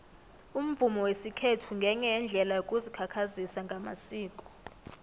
umvumo wesikhethu ngenye yeendlela yokuzikhakhazisa ngamasiko